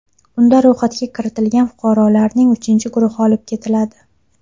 Unda ro‘yxatga kiritilgan fuqarolarning uchinchi guruhi olib ketiladi.